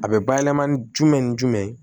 A bɛ bayɛlɛma ni jumɛn ni jumɛn ye